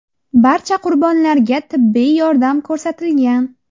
Barcha qurbonlarga tibbiy yordam ko‘rsatilgan.